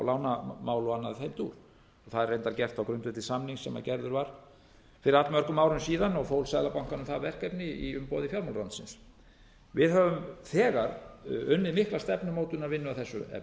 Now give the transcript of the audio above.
lánamál og annað í þeim dúr það er reyndar gert á grundvelli samnings sem gerður var fyrir allmörgum árum síðan og fól seðlabankanum það verkefni í umboði fjármálaráðuneytisins við höfum þegar unnið mikla stefnumótunarvinnu að þessu